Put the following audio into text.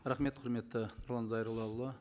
рахмет құрметті нұрлан зайроллаұлы